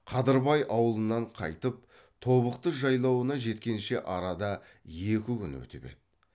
қадырбай аулынан қайтып тобықты жайлауына жеткенше арада екі күн өтіп еді